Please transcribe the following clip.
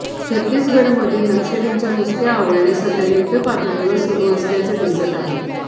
छत्तीसगढमधील नक्षलींच्या मुसक्या आवळणे सध्या युद्धपातळीवर सुरू असल्याचे दिसत आहे